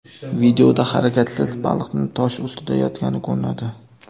Videoda harakatsiz baliqning tosh ustida yotgani ko‘rinadi.